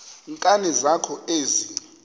nkani zakho ezi